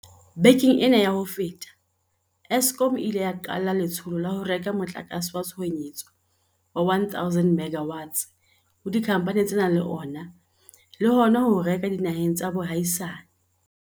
Bekeng ena ya ho feta, Eskom e ile ya qala letsholo la ho reka motlakase wa tshohanyetso wa 1 000 MW ho dikhamphane tse nang le ona le hona ho o reka dinaheng tsa boahisane.